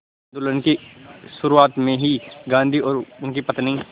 आंदोलन की शुरुआत में ही गांधी और उनकी पत्नी